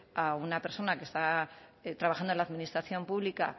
a una persona que está trabajando en la administración pública